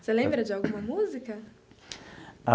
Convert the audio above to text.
Você lembra de alguma música?